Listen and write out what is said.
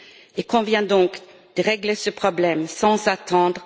Il convient donc de régler ce problème sans attendre.